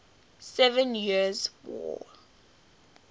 seven years war